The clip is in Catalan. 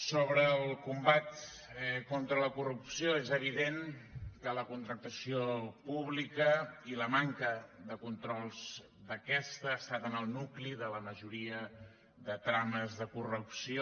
sobre el combat contra la corrupció és evident que la contractació pública i la manca de controls d’aquesta han estat en el nucli de la majoria de trames de corrupció